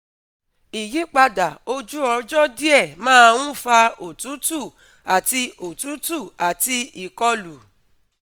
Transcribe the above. Ìyípadà ojú ọjọ́ díẹ̀ máa ń fa òtútù àti òtútù àti ìkọlù